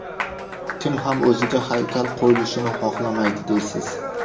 Kim ham o‘ziga haykal qo‘yilishini xohlamaydi deysiz?